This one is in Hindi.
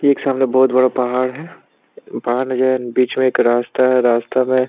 ये एक सामने बहुत बड़ा पहाड़ है पहाड़ के सामने बीच में एक रास्ता है रास्ता में --